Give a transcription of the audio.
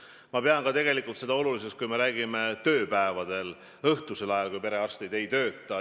Ma pean tegelikult seda oluliseks ka tööpäevade õhtusel ajal, kui perearstid ei tööta.